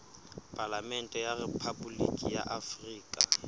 palamente ya rephaboliki ya afrika